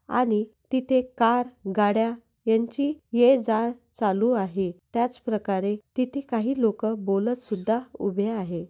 आणि तिथे कार गाड्या यांची ये-जा चालू आहे त्याचप्रकारे तिथं काही लोकं बोलतसुद्धा उभे आहे.